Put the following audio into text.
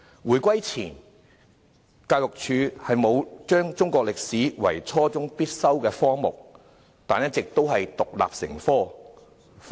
回歸前，教育署沒有將中史列為初中必修科目，但一直都是獨立成科。